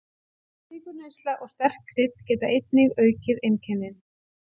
Sykurneysla og sterk krydd geta einnig aukið einkennin.